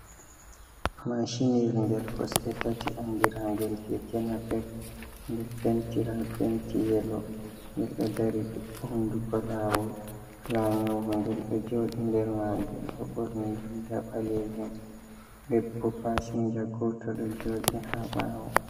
Maacinyel ngel kosɗe tati, anndira ngel keeke napep, ngel pentira penti yelo, ngel ɗo dari hunnduko laawol. Laanyowo ngel, ɗo jooɗi nder maagel ɗo ɓorni riiga ɓaleejum, debbo pasinja gooto, ɗo jooɗi haa ɓaawo.